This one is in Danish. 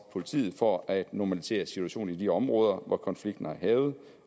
politiet for at normalisere situationen i de områder hvor konflikten har hærget